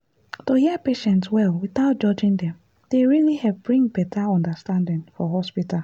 to hear patients well without judging dem dey really help bring better understanding for hospital.